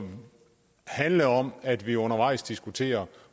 handle om at vi undervejs diskuterer